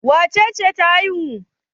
Wace ce ta haihu?